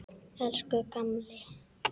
Elsku gamli.